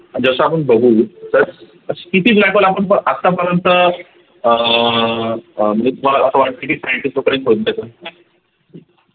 जस आपण बघू तर किती black hole आपण आतापर्यंत अह अह म्हणजे तुम्हाला अस वाटते की scientist लोकांनी